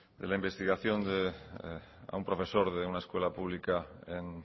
de la investigación a un profesor de una escuela pública en